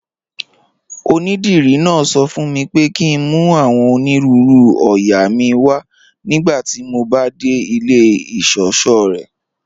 Ọnídírí náà sọ fún mí pé kí n mú awọn onírùúrù oóyà mí wà nigbàtí mó bá de ilẹ̀ ìṣọṣọ̀ rẹ́.